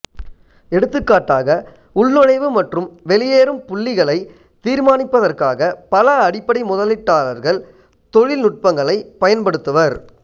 எடுத்துக்காட்டாக உள்நுழைவு மற்றும் வெளியேறும் புள்ளிகளைத் தீர்மானிப்பதற்காக பல அடிப்படை முதலீட்டாளர்கள் தொழில்நுட்பங்களைப் பயன்படுத்துவர்